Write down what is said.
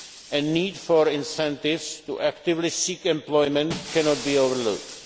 nets. A need for incentives to actively seek employment cannot be overlooked.